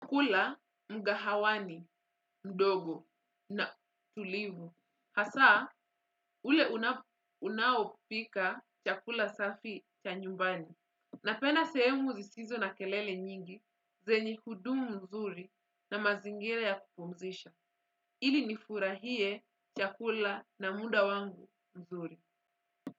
Kula, mgahawani, mdogo, na tulivu. Hasa, ule unaopika chakula safi cha nyumbani. Napenda sehemu zisizo na kelele nyingi, zenye hudumu nzuri na mazingira ya kupumzisha. Ili nifurahie chakula na muda wangu mzuri.